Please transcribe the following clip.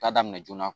Ta daminɛ joona